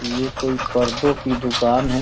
ये कोई पर्दों की दुकान है।